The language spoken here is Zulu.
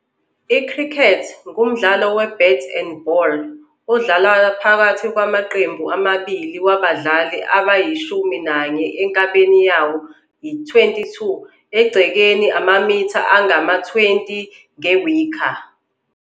I-Cricket ngumdlalo we-bat-and-ball odlalwa phakathi kwamaqembu amabili wabadlali abayishumi nanye enkabeni yawo yi-22-egcekeni, amamitha angama-20, nge-wicker